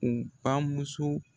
U ba muso